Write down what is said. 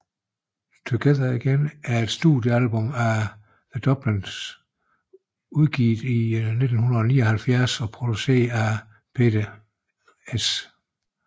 Together Again er et studiealbum af The Dubliners udgivet i 1979 produceret af Pete St